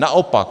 Naopak.